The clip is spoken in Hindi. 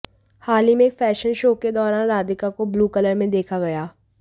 हाल ही में एक फैशन शो के दौरान राधिका को ब्लू कलर में देखा गया